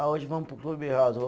Ah, hoje vamos para o Clube House